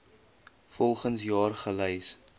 volgens jaar gelys